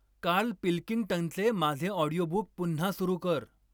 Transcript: Carl पिल्किंग्टनचे माझे audio book पुन्हा सुरू कर